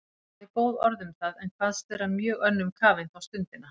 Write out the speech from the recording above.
Hafði hann góð orð um það, en kvaðst vera mjög önnum kafinn þá stundina.